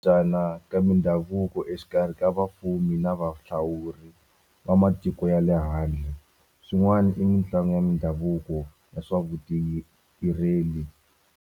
ka mindhavuko exikarhi ka vafumi na valawuri va matiko ya le handle swin'wana i mitlangu ya mindhavuko ya swa vu ti .